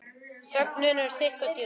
Þögnin er þykk og djúp.